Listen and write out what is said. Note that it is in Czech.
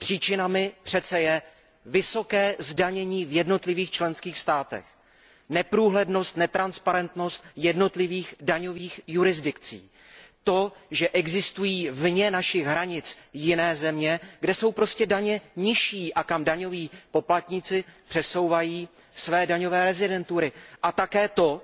Příčinami přece je vysoké zdanění v jednotlivých členských státech, neprůhlednost jednotlivých daňových jurisdikcí, to, že existují vně našich hranic jiné země, kde jsou daně nižší a kam daňoví poplatníci přesouvají své daňové rezidentury, a také skutečnost,